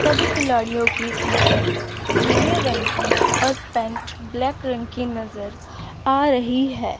सभी खिलाड़ियों की टी-शर्ट नीले रंग की और पैंट ब्लैक रंग की नज़र आ रही है।